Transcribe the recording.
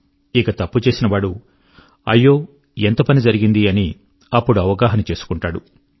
ఇక తప్పు చేసిన వాడు అయ్యో ఎంత పని జరిగింది అని అవగాహన చేసుకుంటాడు